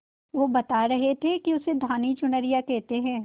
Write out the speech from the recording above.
वो बता रहे थे कि उसे धानी चुनरिया कहते हैं